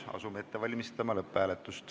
Asume seda ette valmistama.